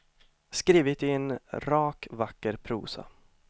Skrivet i en rak vacker prosa.